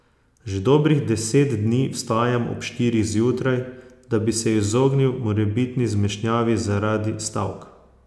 Že dobrih deset dni vstajam ob štirih zjutraj, da bi se izognil morebitni zmešnjavi zaradi stavk.